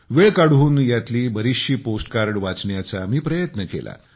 वेळ काढून यातली बरीचशी पोस्ट कार्ड वाचण्याचा मी प्रयत्न केला